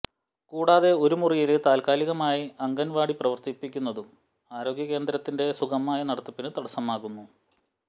കൂടാതെ ഒരു മുറിയില് താല്കാലികമായി അംഗന്വാടി പ്രവര്ത്തിക്കുന്നതും ആരോഗ്യ കേന്ദ്രത്തിന്റെ സുഗമമായ നടത്തിപ്പിന് തടസ്സമാകുന്നു